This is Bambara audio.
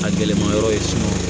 A gɛlɛmayɔrɔ ye